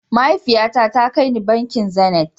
Mahaifiya na ta kar ni bankin "zenith".